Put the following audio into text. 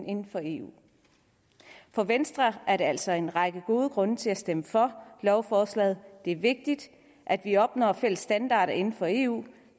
inden for eu for venstre er der altså en række gode grunde til at stemme for lovforslaget det er vigtigt at vi opnår fælles standarder inden for eu